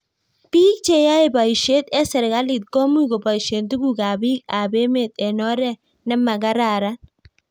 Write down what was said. piik che yae boishet eng serikalit ko much kobaishe tuguk ab biik ab emet eng' oret ne makararan